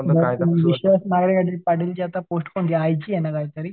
विश्वास नांगरे काहीतरी पाटीलची त्याची पोस्ट पण आता जायची आहे ना काहीतरी.